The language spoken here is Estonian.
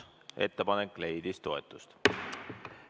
Ettepanek leidis toetust.